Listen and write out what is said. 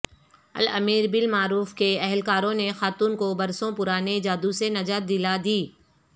الامر بالمعروف کے اہلکاروں نے خاتون کوبرسوں پرانے جادو سے نجات دلا دی